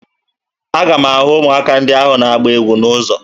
Aga m ahụ ụmụaka ndị ahụ na-agba egwu n'ụzọ